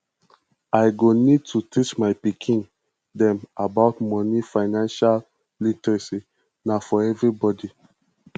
i go need to teach my pikin dem about moni financial literacy na for everybody